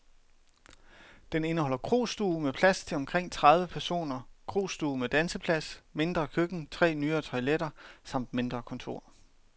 Den indeholder krostue med plads til omkring tredive personer, krostue med danseplads, mindre køkken, tre nyere toiletter samt mindre kontor.